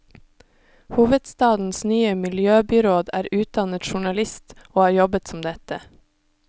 Hovedstadens nye miljøbyråd er utdannet journalist, og har jobbet som dette.